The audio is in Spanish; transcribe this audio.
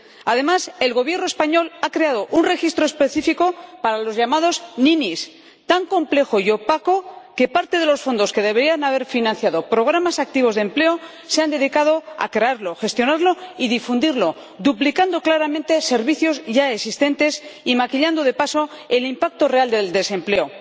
Además, el Gobierno español ha creado un registro específico para los llamados ninis tan complejo y opaco que parte de los fondos que deberían haber financiado programas activos de empleo se han dedicado a crearlo, gestionarlo y difundirlo, duplicando claramente servicios ya existentes y maquillando, de paso, el impacto real del desempleo.